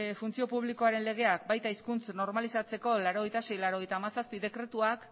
funtzio publikoaren legeak baita hizkuntza normalizatzeko laurogeita sei barra laurogeita hamazazpi dekretuak